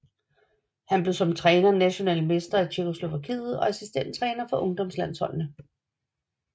Han blev som træner national mester i Tjekkoslovakiet og assistenttræner for ungdomslandsholdene